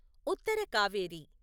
Uttara Kaveri